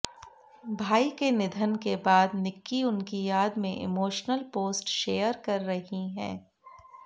भाई के निधन के बाद निक्की उनकी याद में इमोशनल पोस्ट शेयर कर रही हैं